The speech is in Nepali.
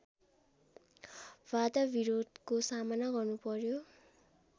बाधाविरोधहरूको सामना गर्नुपर्‍यो